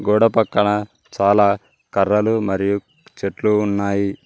గొడవపక్కన చాలా కర్రలు మరియు చెట్లు ఉన్నాయి.